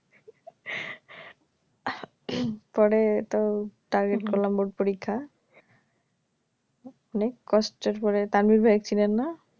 পরে তো target করলাম বোর্ড পরীক্ষা অনেক কষ্টের পরে তানভীর ভাই এসেছিলেন না